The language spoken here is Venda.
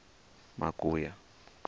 makuya